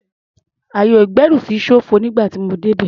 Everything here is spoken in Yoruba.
Ayè-ìgbẹ́rùsí ṣófo nígbà tí mo débẹ̀.